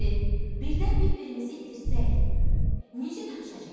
İştə, birdən bir-birimizi itirsək, necə tapışacağıq?